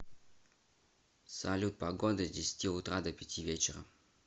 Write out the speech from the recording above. салют погода с десяти утра до пяти вечера